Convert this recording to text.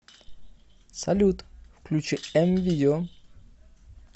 салют включи эм видео